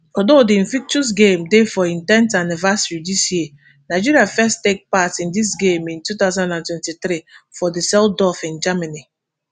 although di invictus games dey for im ten th anniversary dis year nigeria first take part in di games in two thousand and twenty-three for dsseldorf in germany